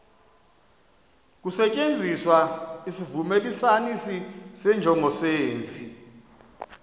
kusetyenziswa isivumelanisi senjongosenzi